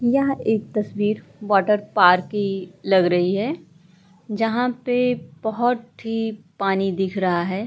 यह एक तस्वीर वाटर पार्क की लग रही है जहाँ पे बोहोट ही पानी दिख रहा है।